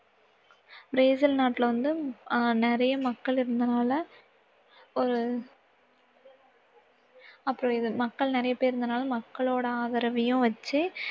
Brazil நாட்டுல வந்த ஆஹ் நிறைய மக்கள் இருந்ததால, ஒரு அப்பறம் இது மக்கள் நிறைய பேரு இருந்ததால மக்களோட ஆதரவையும் வச்சு